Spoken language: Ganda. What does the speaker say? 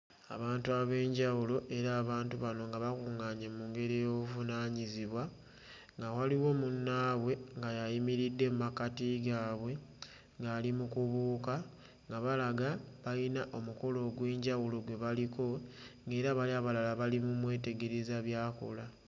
Abantu ab'enjawulo era abantu bano nga bakuᵑᵑaanye mu ngeri ey'obuvunaanyizibwa nga waliwo munnaabwe nga y'ayimiridde mmakkati gaabwe ng'ali mu kubuuka nga balaga bayina omukolo ogw'enjawulo gwe baliko ng'era bali abalala bali mu mmwetegereza by'akola.